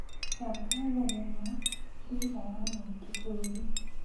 Thaka thinema, ndira ya mwendi bũrũri